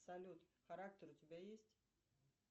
салют характер у тебя есть